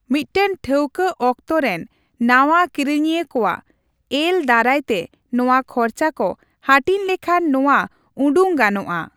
ᱢᱤᱫᱴᱟᱝ ᱴᱷᱟᱹᱣᱠᱟ ᱚᱠᱛᱚ ᱨᱮᱱ ᱱᱟᱣᱟ ᱠᱤᱨᱤᱧᱤᱭᱟᱹ ᱠᱚᱣᱟᱜ ᱮᱹᱞ ᱫᱟᱨᱟᱭᱛᱮ ᱱᱚᱣᱟ ᱠᱷᱚᱨᱪᱟ ᱠᱚ ᱦᱟᱹᱴᱤᱧ ᱞᱮᱠᱷᱟᱱ ᱱᱚᱣᱟ ᱩᱰᱩᱝ ᱜᱟᱱᱚᱜᱼᱟ ᱾